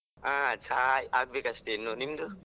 ಹಾ ಚಾ ಆಗ್ಬೇಕಷ್ಟೆ ಇನ್ನು, ನಿಮ್ದು?